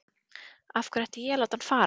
Af hverju ætti ég að láta hann fara?